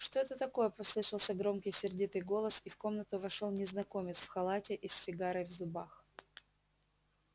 что это такое послышался громкий сердитый голос и в комнату вошёл незнакомец в халате и с сигарой в зубах